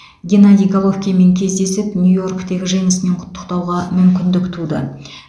геннадий головкинмен кездесіп нью йорктегі жеңісімен құттықтауға мүмкіндік туды